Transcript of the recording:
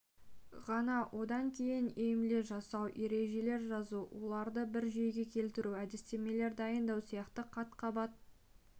ғана одан кейін емле жасау ережелер жазу оларды бір жүйеге келтіру әдістемелер дайындау сияқты қат-қабат